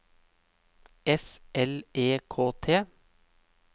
S L E K T